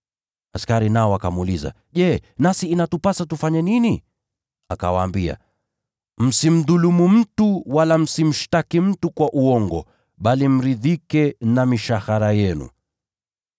Askari nao wakamuuliza, “Je, nasi inatupasa tufanye nini?” Akawaambia, “Msimdhulumu mtu wala msimshtaki mtu kwa uongo, bali mridhike na mishahara yenu.”